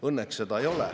Õnneks seda ei ole.